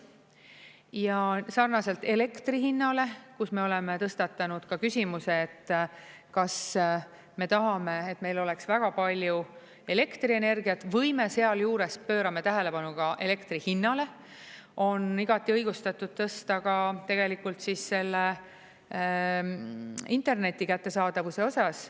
Ja sarnaselt elektri hinnale, kus me oleme tõstatanud küsimuse, et kas me tahame, et meil oleks väga palju elektrienergiat, või me sealjuures pöörame tähelepanu ka elektri hinnale, on igati õigustatud tõsta ka tegelikult interneti kättesaadavuse osas.